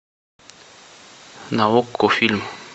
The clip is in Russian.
на окко фильм